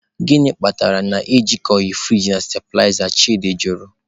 "Gịnị kpatara na ị jikọghị friji na stabiliza?”, Chidi jụrụ.